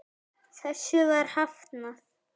Þessu var hafnað.